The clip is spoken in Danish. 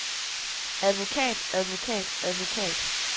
advokat advokat advokat